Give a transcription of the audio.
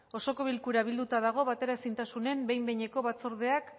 osoko bilkura bilduta dago bateraezintasunen behin behineko batzordeak